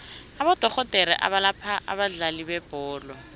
abodorhodere abalapha abadlali bebholo